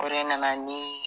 O de nana ni